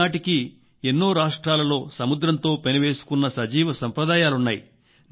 ఈ నాటికి ఎన్నో రాష్ట్రాలలో సముద్రంతో పెనవేసుకున్న సజీవ సంప్రదాయాలున్నాయి